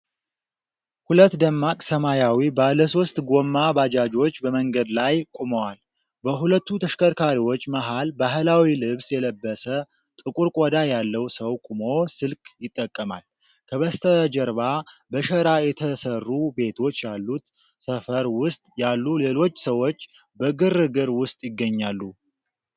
ሁለት ደማቅ ሰማያዊ ባለሦስት ጎማ ባጃጆች በመንገድ ላይ ቆመዋል። በሁለቱ ተሽከርካሪዎች መሃል ባህላዊ ልብስ የለበሰ፣ ጥቁር ቆዳ ያለው ሰው ቆሞ ስልክ ይጠቀማል። ከበስተጀርባ በሸራ የተሰሩ ቤቶች ያሉት ሰፈር ውስጥ ያሉ ሌሎች ሰዎች በግርግር ውስጥ ይገኛሉ።